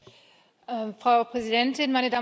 Frau Präsidentin, meine Damen und Herren!